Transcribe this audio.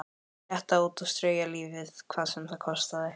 Slétta út og strauja lífið hvað sem það kostaði.